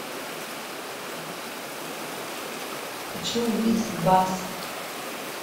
хочу увидеть баксы